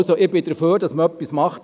Ich bin dafür, dass man etwas macht.